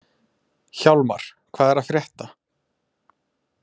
Hjálmar, hvað er að frétta?